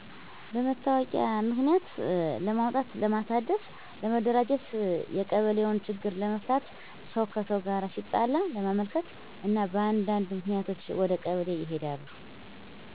በመታወቂያ ምክንያት ለማውጣት ለማሣደስ፣ ለመደራጀት፣ የቀበሌውን ችግር ለመፍታት፣ ሰው ከሰው ጋር ሲጣላ ለማመልከት እና በአንዳነድ ምክንያቶች ወደ ቀበሌ ይሔዳሉ።